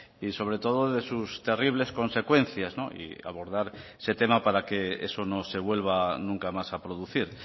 y sobre todo de sus terribles consecuencias y abordar ese tema para que eso no se vuelva nunca más a producir